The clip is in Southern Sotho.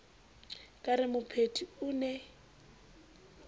ka re mopheti o ne